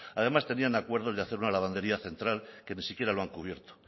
además tenían acuerdos de hacer una lavandería central que ni siquiera lo han cubierto